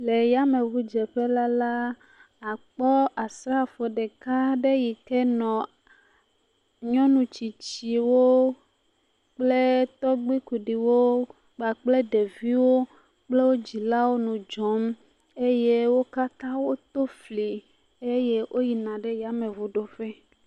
Le yameŋudzeƒela la, àkpɔ asrafo ɖeka aɖe yi ke nɔ nyɔnu tsitsiwo kple tɔgbu kuɖiwo kpakple ɖeviawo kple wo dzilawo nɔ dzɔm eye wo katã woto fli eye woyina yameŋu ɖoƒe.